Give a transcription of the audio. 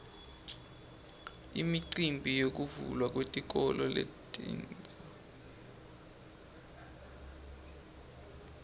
imicimbi yekuvulwa kwetikolo letintsa